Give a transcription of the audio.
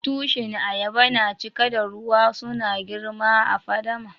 Tushin ayaba na cike da ruwa. Suna girma a'fadama.